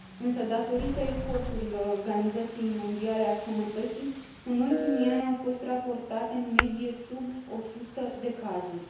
Însă, datorită eforturilor Organizației Mondiale a Sănătății, în ultimii ani au fost raportate în medie sub 100 de cazuri.